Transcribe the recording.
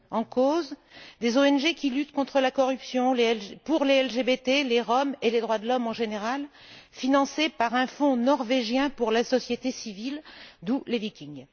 En cause des ONG qui luttent contre la corruption, pour les LGBT, les Roms et les droits de l'homme en général, financées par un fonds norvégien pour la société civile, d'où les Vikings.